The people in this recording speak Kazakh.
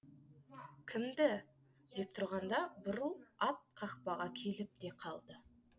кімді деп тұрғанда бурыл ат қақпаға келіп те қалды